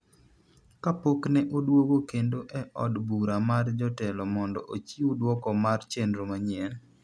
kapok ne odwogo kendo e od bura mar jotelo mondo ochiw dwoko mar chnro manyien